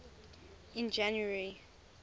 in january